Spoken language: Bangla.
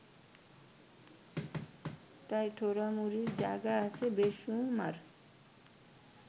তাই ঠোরামুরির জায়গা আছে বেশুমার